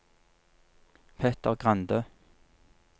Petter Grande